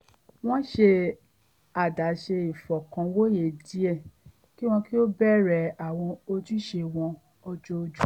wọ́n ṣe àdáṣe ìfọkànwòye díẹ̀ kí wọ́n tó bẹ̀rẹ̀ àwọn ojúṣe wọn ojoojúmọ́